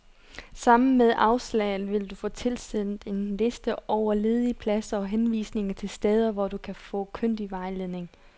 Sammen med afslaget vil du få tilsendt en liste over ledige pladser og henvisninger til steder, hvor du kan få kyndig vejledning.